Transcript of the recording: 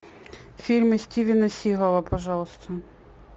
фильмы стивена сигала пожалуйста